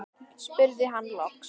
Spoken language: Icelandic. spurði hann loks.